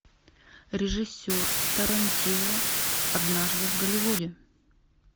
режиссер тарантино однажды в голливуде